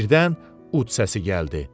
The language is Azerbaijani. Birdən ud səsi gəldi.